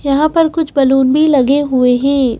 यहाँ पर कुछ बलून भी लगे हुए हैं।